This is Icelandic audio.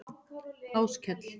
Áskell